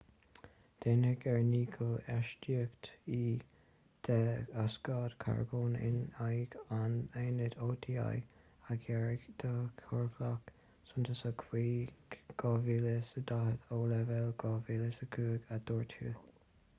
déanfaimid ár ndícheall astaíochtaí dé-ocsaíd charbóin in aghaidh an aonaid oti a ghearradh de chorrlach suntasach faoi 2020 ó leibhéal 2005 a dúirt hu